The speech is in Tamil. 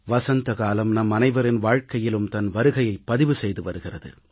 வசந்த காலம் நம் அனைவரின் வாழ்க்கையிலும் தன் வருகையைப் பதிவு செய்து வருகிறது